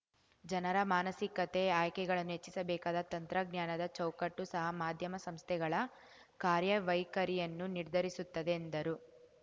ಜನರ ಮಾನಸಿಕತೆ ಆಯ್ಕೆಗಳನ್ನು ಹೆಚ್ಚಿಸಬೇಕಾದ ತಂತ್ರಜ್ಞಾನದ ಚೌಕಟ್ಟು ಸಹ ಮಾಧ್ಯಮ ಸಂಸ್ಥೆಗಳ ಕಾರ್ಯ ವೈಖರಿಯನ್ನು ನಿರ್ಧರಿಸುತ್ತದೆ ಎಂದರು